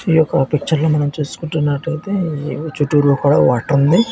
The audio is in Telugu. యొక్క పిచర్ల మనం చూసుకుంటున్నట్లయితే చిత్తూరులో కూడా వాటర్ ఉంది.